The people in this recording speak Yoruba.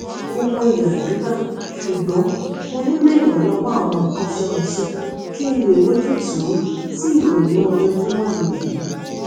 mo mọyì àdúrà ṣùgbọn mo nílò ìrànlówó àwọn akọṣẹmọṣẹ kí n lè rójútùú sí ìrònú ojoojúmó mi yìí